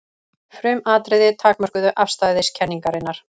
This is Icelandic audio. Frumatriði takmörkuðu afstæðiskenningarinnar.